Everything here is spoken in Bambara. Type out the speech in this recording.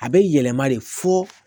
A bɛ yɛlɛma de fɔ